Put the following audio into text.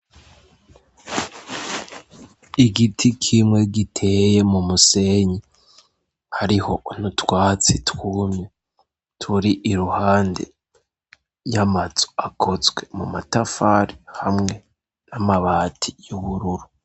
Igiti kimwe giteye mu musenyi; hariho n'utwatsi twumye turi iruhande y'amazu akozwe mu matafari hamwe n'amabati y'ubururu.